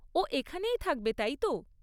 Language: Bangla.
ও এখানেই থাকবে, তাই তো?